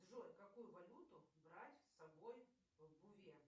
джой какую валюту брать с собой в буве